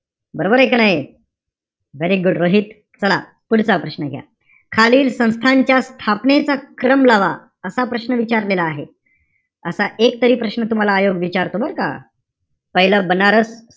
बरोबरय का नाई? very good Rohit. चला, पुढचा प्रश्न घ्या. खालील संस्थांच्या स्थापनेचा क्रम लावा. असा प्रश्न विचारलेला आहे. असा एक तरी प्रश्न तुम्हाला आयोग विचारतो बरं का. पाहिलं, बनारस,